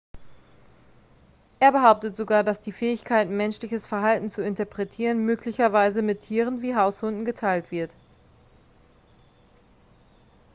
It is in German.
er behauptet sogar dass die fähigkeiten menschliches verhalten zu interpretieren möglicherweise mit tieren wie haushunden geteilt wird